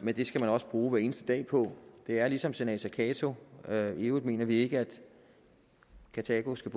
men det skal man også bruge hver eneste dag på det er ligesom senator cato sagde i øvrigt mener vi ikke at karthago skal